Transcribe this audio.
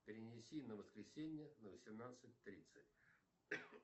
перенеси на воскресенье на восемнадцать тридцать